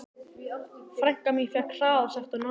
Frænka mín fékk hraðasekt á Norðurlandi.